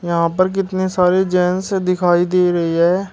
यहां पर कितने सारे जेंट्स दिखाई दे रही है।